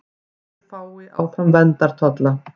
Bændur fái áfram verndartolla